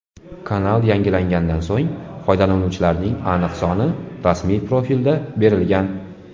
Kanal yangilangandan so‘ng foydalanuvchilarning aniq soni rasmiy profilda berilgan.